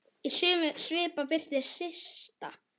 Í sömu svipan birtist Systa.